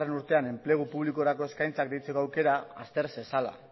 urtean enplegu publikorako eskaintzak deitzeko aukera azter zezala